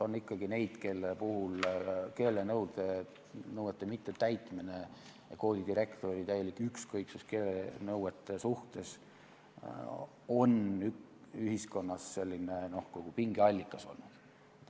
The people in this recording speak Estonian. On ikkagi neid koolidirektoreid, kelle täielik ükskõiksus keelenõuete vastu on ühiskonnas pingeallikas olnud.